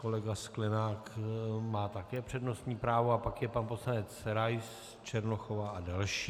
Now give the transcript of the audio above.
Kolega Sklenák má také přednostní právo a pak je pan poslanec Rais, Černochová a další.